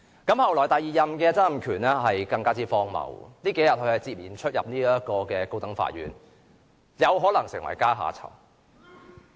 後來第二任的曾蔭權便更為荒謬，這數天他不斷進出高等法院，有可能成為階下囚。